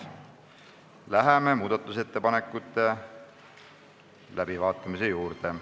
Läheme muudatusettepanekute läbivaatamise juurde.